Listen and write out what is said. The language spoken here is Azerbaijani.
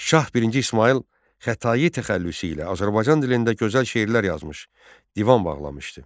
Şah Birinci İsmayıl Xətai təxəllüsü ilə Azərbaycan dilində gözəl şeirlər yazmış, divan bağlamışdı.